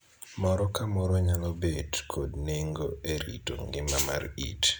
Moro ka moro nyalo bet kod nengo e rito ngima mar iti.